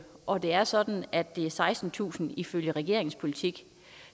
og det er sådan at det er sekstentusind ifølge regeringens politik